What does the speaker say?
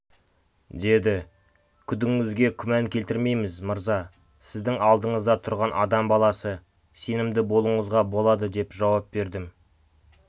деді күдігіңізге күмән келтірмейміз мырза сіздің алдыңызда тұрған адам баласы сенімді болуыңызға болады деп жауап бердім